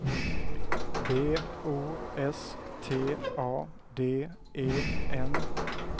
B O S T A D E N